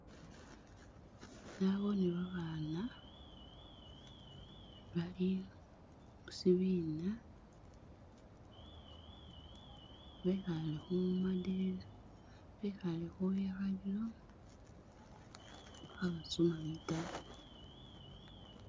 Naboone babaana bali musibiina bekhale khu ma'desk bekhale khubwikhalilo khabasoma bitabo.